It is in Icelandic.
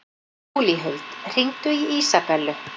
Júlíhuld, hringdu í Ísabellu.